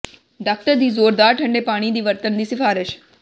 doctor ਦੀ ਜ਼ੋਰਦਾਰ ਠੰਡੇ ਪਾਣੀ ਦੀ ਵਰਤਣ ਦੀ ਸਿਫਾਰਸ਼